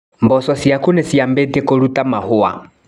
Mboco ciaku nĩcimabĩtie kũruta mahũa.